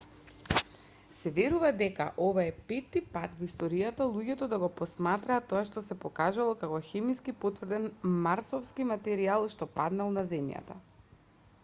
се верува дека ова е петти пат во историјата луѓето да го посматраат тоа што се покажало како хемиски потврден марсовски материјал што паднал на земјата